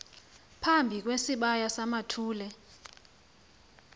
phambi kwesibaya samathole